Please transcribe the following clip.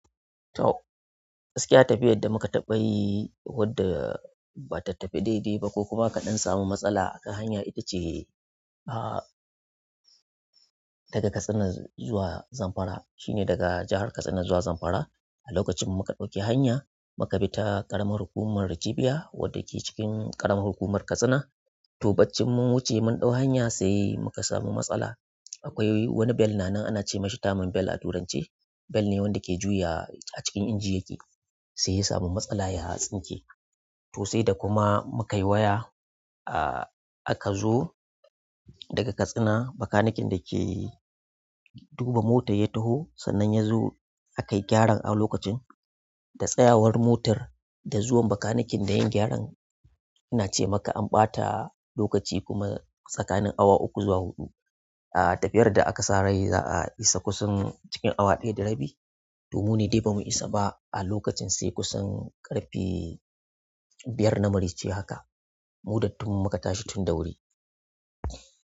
To, gaskiya tafiyar da muka taɓa yi wadda ba ta tafi daidai ba ko kuma kaɗan samu matsala akan hanya ita ce, ah, daga Katsina zuwa Zamfara. Shine daga jahar Katsina zuwa Zamfara. A lokacin muka ɗauki hanya muka bi ta ƙaramar hukumar rijiya wadda ke cikin ƙaramar hukumar Katsina. To, bacci mun wuce mun ɗau hanya sai muka samu matsala. Akwai wani bell na nan ana ce masa terman bell a turance. Bell ne wanda ke juya a cikin engine yake sai ya samu matsala ya sinke to sai da kuma muka yi waya, ah, aka zo daga Katsina, bakaniken da ke duba mota ya taho sannan ya zo akai gyaran a lokacin da tsayawar motar da zuwan bakaniken da yin gyaran ina ce maka an ɓata lokaci kuma tsakanin awa uku zuwa huɗu. Ah tafiyar da aka sa rai za'a isa kusan awa ɗaya da rabi t mune dai bamu isa ba a lokacin sai kusan ƙarfe biyar na mare ce haka. Muda tun muka tashi tun da wuri.